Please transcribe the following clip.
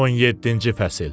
17-ci fəsil.